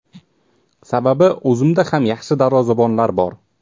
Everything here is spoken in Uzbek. Sababi o‘zimizda ham yaxshi darvozabonlar bor.